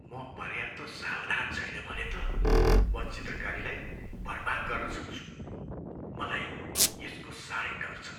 म पर्याप्त सावधान छैन भने त म चित्रकारीलाई बर्बाद गर्न सक्छु। मलाई यसको साह्रै डर छ।